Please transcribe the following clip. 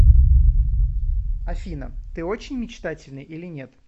афина ты очень мечтательный или нет